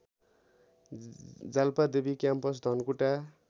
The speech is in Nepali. जालपादेवी क्याम्पस धनकुटा